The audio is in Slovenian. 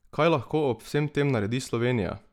Kaj lahko ob vsem tem naredi Slovenija?